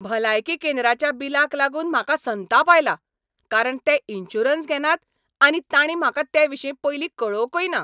भलायकी केंद्राच्या बिलाक लागून म्हाका संताप आयला, कारण ते इन्शुरन्स घेनात आनी ताणीं म्हाका तेविशीं पयलीं कळोवंकय ना.